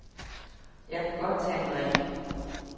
Jeg kan godt tage en drink.